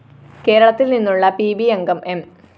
കേരളത്തില്‍ നിന്നുള്ള P B അംഗം എം